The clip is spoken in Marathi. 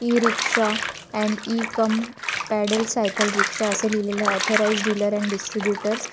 e rickshaw and e cum pedal cycle rickshaw असं लिहिलेलं ऑथराईज्ड डिलर अँड डिस्ट्रीब्यूटर्स --